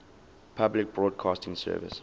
public broadcasting service